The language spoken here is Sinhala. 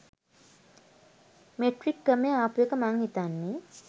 මෙට්‍රික් ක්‍රමය ආපුඑක මං හිතන්නෙ.